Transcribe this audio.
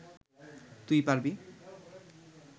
তুই পারবি